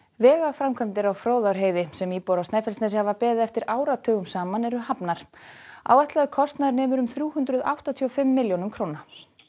vegaframkvæmdir á Fróðárheiði sem íbúar á Snæfellsnesi hafa beðið eftir áratugum saman eru hafnar áætlaður kostnaður nemur um þrjú hundruð áttatíu og fimm milljónum króna